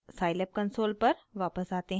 scilab console पर वापस आते हैं